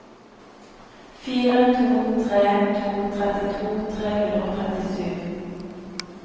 fire to tre to trettito tre hundre og trettisju